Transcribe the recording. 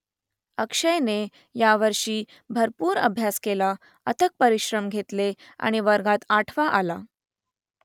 अक्षयने यावर्षी भरपूर अभ्यास केला अथक परिश्रम घेतले आणि वर्गात आठवा आला